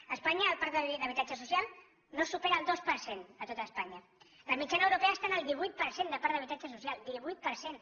a espanya el parc d’habitatge social no supera el dos per cent a tot espanya la mitjana europea està en el divuit per cent de parc d’habitatge social divuit per cent